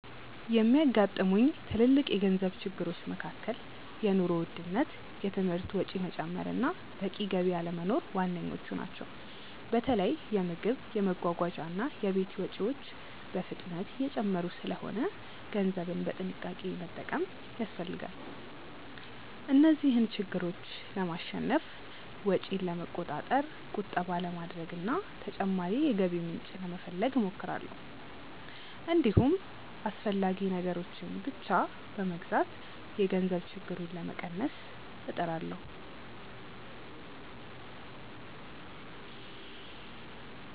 የሚያጋጥሙኝ ትልልቅ የገንዘብ ችግሮች መካከል የኑሮ ውድነት፣ የትምህርት ወጪ መጨመር እና በቂ ገቢ አለመኖር ዋነኞቹ ናቸው። በተለይ የምግብ፣ የመጓጓዣ እና የቤት ወጪዎች በፍጥነት እየጨመሩ ስለሆነ ገንዘብን በጥንቃቄ መጠቀም ያስፈልጋል። እነዚህን ችግሮች ለማሸነፍ ወጪን ለመቆጣጠር፣ ቁጠባ ለማድረግ እና ተጨማሪ የገቢ ምንጭ ለመፈለግ እሞክራለሁ። እንዲሁም አስፈላጊ ነገሮችን ብቻ በመግዛት የገንዘብ ችግሩን ለመቀነስ እጥራለሁ።